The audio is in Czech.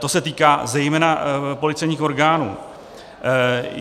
To se týká zejména policejních orgánů.